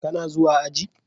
Ka na zuwa aji?